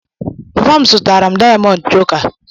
Papa m zụtara m dayamond choka.